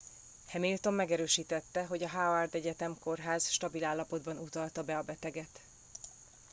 hamilton megerősítette hogy a howard egyetemi kórház stabil állapotban utalta be a beteget